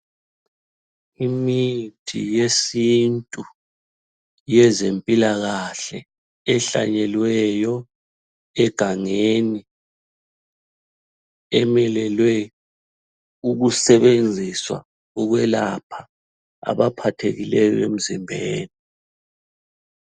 Imithi yesintu yezempilakahle ehlanyelweyo egangeni ,emelele ukusebenziswa ukwelapha abaphathekileyo emzimbeni.